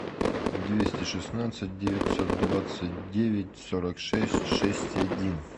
двести шестнадцать девятьсот двадцать девять сорок шесть шесть один